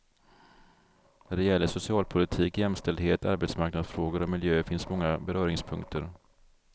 När det gäller socialpolitik, jämställdhet, arbetsmarknadsfrågor och miljö finns många beröringspunkter.